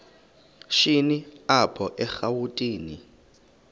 shini apho erawutini